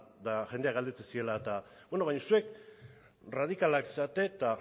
eta jendeak galdetzen ziola eta beno baina zuek erradikalak zarete eta